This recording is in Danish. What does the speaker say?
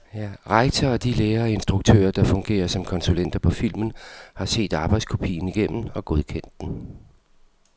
Rektor og de lærere og instruktører, der fungerer som konsulenter på filmen, har set arbejdskopien igennem og godkendt den.